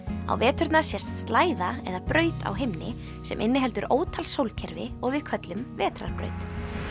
á veturna sést eða braut á himni sem inniheldur ótal sólkerfi og við köllum vetrarbraut